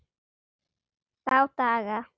Þá daga